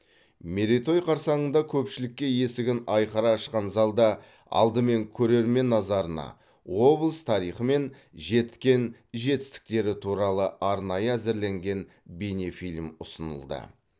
мерейтой қарсаңында көпшілікке есігін айқара ашқан залда алдымен көрермен назарына облыс тарихы мен жеткен жетістіктері туралы арнайы әзірленген бейнефильм ұсынылды